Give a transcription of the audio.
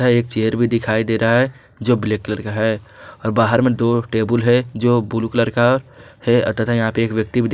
एक चेयर भी दिखाई दे रहा है जो ब्लैक कलर का है और बाहर में दो टेबुल है जो ब्लू कलर का है तथा यहां पे एक व्यक्ति--